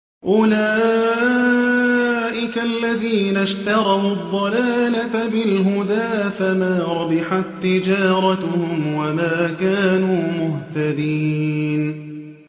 أُولَٰئِكَ الَّذِينَ اشْتَرَوُا الضَّلَالَةَ بِالْهُدَىٰ فَمَا رَبِحَت تِّجَارَتُهُمْ وَمَا كَانُوا مُهْتَدِينَ